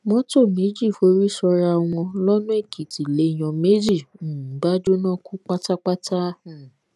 mọtò méjì forí sọra wọn lọnà èkìtì lèèyàn méjì um bá jóná kú pátápátá um